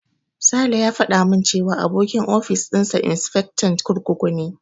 Sale ya faɗa min cewa abokin ofis dinsa insifectan kurkuku ne.